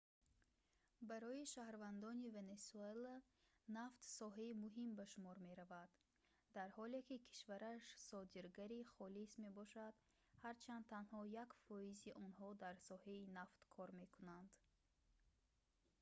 барои шаҳрвандони венесуэла нафт соҳаи муҳим ба шумор меравад дар ҳоле ки кишвараш содиргари холис мебошад ҳарчанд танҳо 1%-и онҳо дар соҳаи нафт кор мекунанд